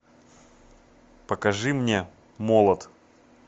покажи мне молот